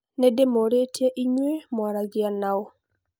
Ndimũũrĩtie inyue mũaragia naũ